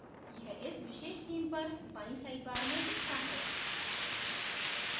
यह इस विशेष theme पर बाईं sidebar में दिखता है